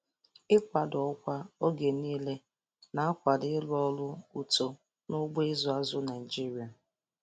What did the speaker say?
Ịkwado ọkwa oge niile na-akwado ịrụ ọrụ uto n'ugbo ịzụ azụ Naịjiria.